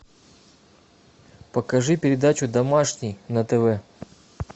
покажи передачу домашний на тв